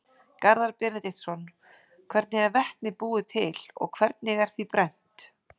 Garðar Benediktsson: Hvernig er vetni búið til og hvernig er því brennt?